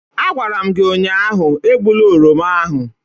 Agwara m gi ụnyahụ, egbula oroma ahụ!